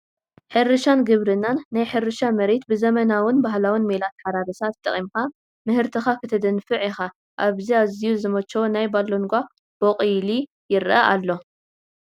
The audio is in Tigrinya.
ሕርሻን ግብርናን፡- ናይ ሕርሻ መሬት ብዘበናውን ባህላውን ሜላ ኣታሓራርሳ ተጠቒምካ ምህርትኻ ክተድንፍዕ ኢኻ፡፡ ኣብዚ ኣዝዩ ዝመቸዎ ናይ ባሎንጓ ቦቑሊ ይረአ ኣሎ፡፡